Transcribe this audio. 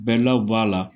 Bɛlaw b'a la